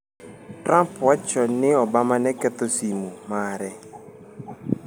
Trump wacho ni Obama ne ketho simu mare